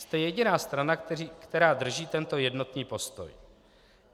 Jste jediná strana, která drží tento jednotný postoj.